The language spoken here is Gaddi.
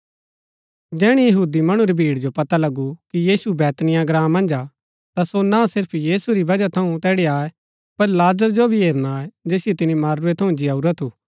जैहणै यहूदी मणु री भीड़ जो पता लगू कि यीशु बैतनिय्याह ग्राँ मन्ज हा ता सो ना सिर्फ यीशु री बजह थऊँ तैड़ी आये पर लाजर जो भी हेरणा आये जैसियो तिनी मरूरै थऊँ जिआऊरा थू